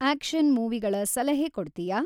action ಮೂವಿಗಳ ಸಲಹೆ ಕೊಡ್ತೀಯಾ